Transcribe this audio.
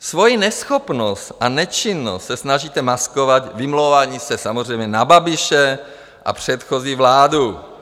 Svoji neschopnost a nečinnost se snažíte maskovat vymlouváním se samozřejmě na Babiše a předchozí vládu.